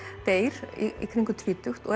deyr í kringum tvítugt og